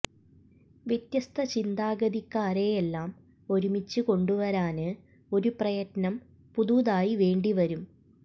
വ്യത്യസ്ത ചിന്താഗതിക്കാരെയെല്ലാം ഒരുമിച്ച് കൊണ്ടുവരാന് ഒരു പ്രയത്നം പുതുതായി വേണ്ടിവരും